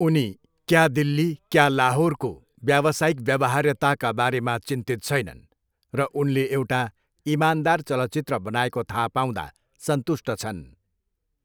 उनी क्या, दिल्ली क्या, लाहोरको व्यावसायिक व्यावहार्यताका बारेमा चिन्तित छैनन् र उनले एउटा इमानदार चलचित्र बनाएको थाहा पाउँदा सन्तुष्ट छन्।